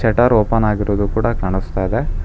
Shettar open ಆಗಿರುವುದು ಕೂಡ ಕಾಣಿಸ್ತಾಯಿದೆ.